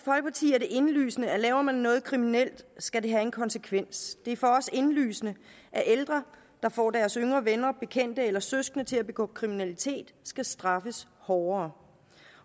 er det indlysende at laver man noget kriminelt skal det have en konsekvens det er for os indlysende at ældre der får deres yngre venner og bekendte eller søskende til at begå kriminalitet skal straffes hårdere